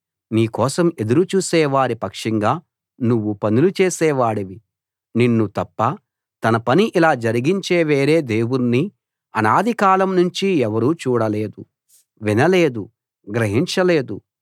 నీ కోసం ఎదురు చూసేవారి పక్షంగా నువ్వు పనులు చేసే వాడివి నిన్ను తప్ప తన పని ఇలా జరిగించే వేరే దేవుణ్ణి అనాది కాలం నుంచి ఎవరూ చూడలేదు వినలేదు గ్రహించలేదు